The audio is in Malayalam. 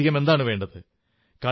ഇതിലധികം എന്താണു വേണ്ടത്